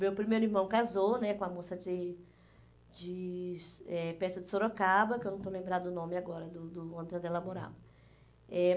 Meu primeiro irmão casou né com uma moça de de eh perto de Sorocaba, que eu não estou lembrada do nome agora, do do onde ela morava. Eh